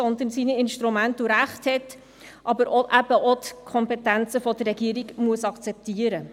Es hat zwar seine Instrumente und Rechte, es muss aber auch die Kompetenzen der Regierung akzeptieren.